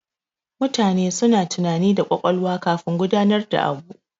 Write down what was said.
Mutane suna tunani da ƙwaƙwalwa kafin gudanar da abu.